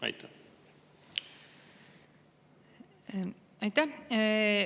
Aitäh!